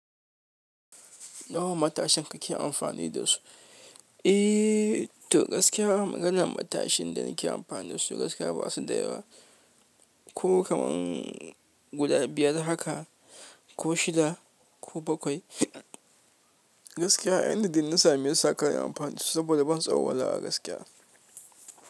Nawa matashin ka ke amfani da su? Eh, to gaskiya maganan matashin da nake amfani da su gaskiya ba su da yawa. Ko kaman guda biyar haka ko shida ko bakwai. Gaskiya, ainihi na sami yin saƙa na amfani da su saboda ban tsauwala a gaskiya.